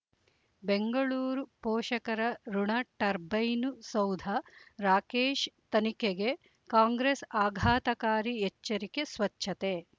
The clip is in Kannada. ಬೆಂಗಳೂರು ಪೋಷಕರಋಣ ಟರ್ಬೈನು ಸೌಧ ರಾಕೇಶ್ ತನಿಖೆಗೆ ಕಾಂಗ್ರೆಸ್ ಆಘಾತಕಾರಿ ಎಚ್ಚರಿಕೆ ಸ್ವಚ್ಛತೆ